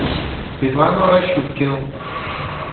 светлану рощупкину